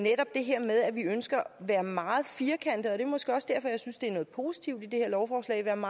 her med at vi ønsker at være meget firkantede det er måske også derfor jeg synes det er noget positivt i det her lovforslag om